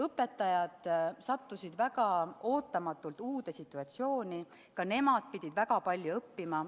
Õpetajad sattusid väga ootamatult uude situatsiooni, ka nemad pidid väga palju õppima.